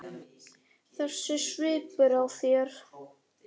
Þessi svipur á þér.